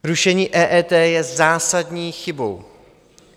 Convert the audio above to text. Zrušení EET je zásadní chybou.